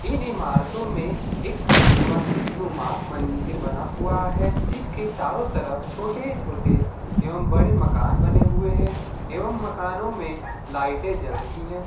इन इमारतों में एक मस्जिद नुमा मंदिर बना हुआ है जिसके चारो तरफ छोटे-छोटे एवं बड़े मकान बने हुए है एवं मकानों में लाइटें जल रही है।